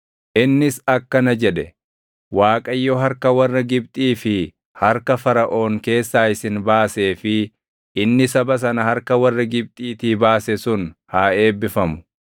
Innis akkana jedhe; “ Waaqayyo harka warra Gibxii fi harka Faraʼoon keessaa isin baasee fi inni saba sana harka warra Gibxiitii baase sun haa eebbifamu.